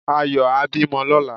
Ayọ̀ á bímọ lóla